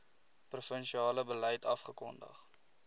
provinsiale beleid afgekondig